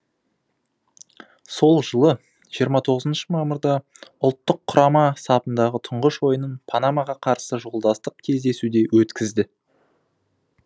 сол жылы жиырма тоғызыншы мамырда ұлттық құрама сапындағы тұңғыш ойынын панамаға қарсы жолдастық кездесуде өткізді